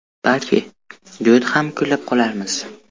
Balki, duet ham kuylab qolarmiz.